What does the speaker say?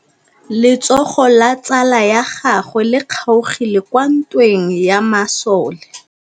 Letsôgô la tsala ya gagwe le kgaogile kwa ntweng ya masole.